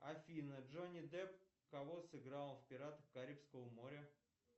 афина джонни депп кого сыграл в пиратах карибского моря